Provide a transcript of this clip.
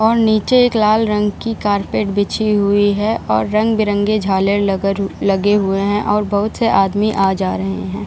और नीचे एक लाल रंग की कारपेट बिछी हुई हैं और रंग-बिरंगे झालर ल लगे हुए हैं और बहुत से आदमी आ जा रहे हैं ।